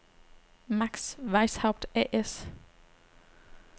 Max Weishaupt A/S